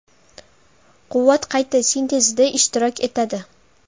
Quvvat qayta sintezida ishtirok etadi.